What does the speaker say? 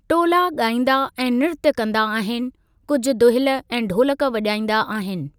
टोला ॻाइंदा ऐं निर्त कंदा आहिनि, कुझु दुहिल ऐं ढोलक वजा॒ईंदा आहिनि।